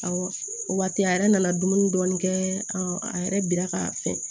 Awɔ o waati a yɛrɛ nana dumuni dɔɔni kɛ a yɛrɛ bira ka fɛn